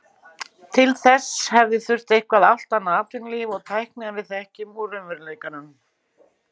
Til þess hefði þurft eitthvert allt annað atvinnulíf og tækni en við þekkjum úr raunveruleikanum.